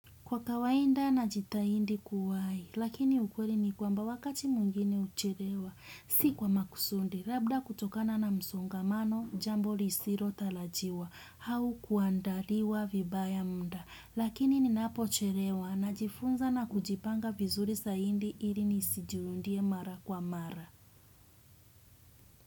Kwa kawainda na jita indi kuwai, lakini ukweli ni kwamba wakati mwingini ucherewa, si kwa makusundi, labda kutokana na msongamano, jambo lisiro talajiwa, hau kuandaliwa vibaya mda, lakini ninapo cherewa na jifunza na kujipanga vizuri sa indi ili nisi jiundie mara kwa mara.